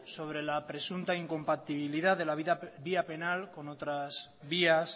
sobre la presunta incompatibilidad de la vía penal con otras vías